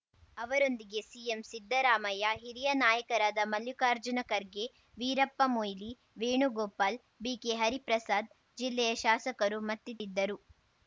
ಅವರೊಂದಿಗೆ ಸಿಎಂ ಸಿದ್ದರಾಮಯ್ಯ ಹಿರಿಯ ನಾಯಕರಾದ ಮಲ್ಲಿಕಾರ್ಜುನ ಖರ್ಗೆ ವೀರಪ್ಪ ಮೊಯ್ಲಿ ವೇಣುಗೋಪಾಲ್‌ ಬಿಕೆ ಹರಿಪ್ರಸಾದ್‌ ಜಿಲ್ಲೆಯ ಶಾಸಕರು ಮತ್ತಿತದ್ದರು